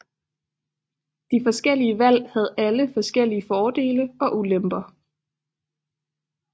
De forskellige valg havde alle forskellige fordele og ulemper